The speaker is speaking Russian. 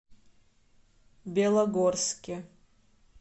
белогорске